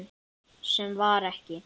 Sem var ekki.